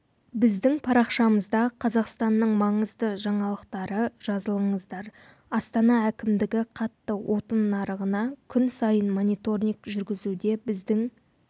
біздің парақшамызда қазақстанның маңызды жаңалықтары жазылыңыздар астана әкімдігі қатты отын нарығына күн сайын мониторинг жүргізуде біздің